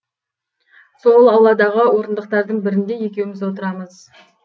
сол ауладағы орындықтардың бірінде екеуіміз отырамыз